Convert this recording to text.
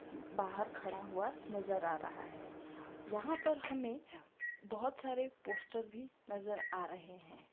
बाहर खड़ा हुआ नजर आ रहा है जहाँ पर हमें बहोत सारे पोस्टर भी नजर आ रहै हैं।